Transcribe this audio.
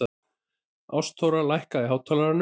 Ástþóra, lækkaðu í hátalaranum.